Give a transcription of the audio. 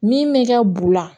Min bɛ kɛ bu la